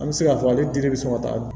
An bɛ se k'a fɔ ale diri bɛ sɔn ka taa